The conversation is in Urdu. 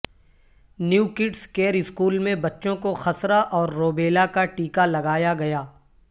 نیو کڈس کیئر اسکول میں بچوں کوخسرہ اورروبیلاکاٹیکہ لگایاگیا